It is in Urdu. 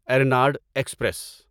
ارناڈ ایکسپریس